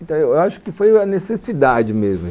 Então, eu acho que foi a necessidade mesmo.